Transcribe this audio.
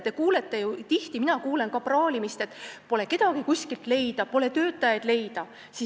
Te kuulete ju tihti ja mina kuulen ka praalimist, et pole kedagi kuskilt leida, pole töötajaid leida.